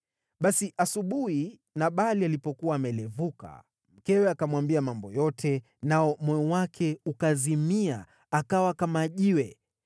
Basi asubuhi, Nabali alipokuwa amelevuka, mkewe akamwambia mambo yote, nao moyo wake ukazimia, akawa kama jiwe.